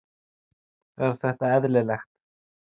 Er þetta eðlilegt???